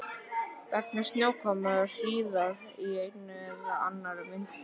Vegna snjókomu og hríðar í einni eða annarri mynd.